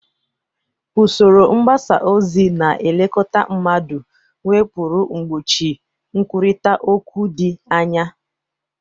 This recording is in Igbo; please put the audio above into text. Usoro mgbasa ozi na-elekọta mmadụ nwepuru mgbochi nkwurịta okwu dị anya.